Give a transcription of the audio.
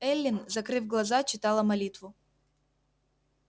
эллин закрыв глаза читала молитву